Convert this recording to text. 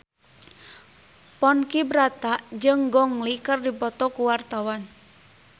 Ponky Brata jeung Gong Li keur dipoto ku wartawan